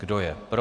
Kdo je pro?